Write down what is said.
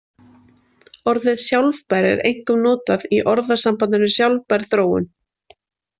Orðið sjálfbær er einkum notað í orðasambandinu sjálfbær þróun.